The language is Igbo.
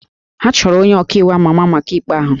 Ha chọrọ onye ọka iwu àmá àmá maka ikpe ahụ